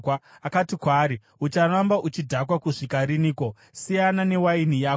akati kwaari, “Ucharamba uchidhakwa kusvika riniko? Siyana newaini yako.”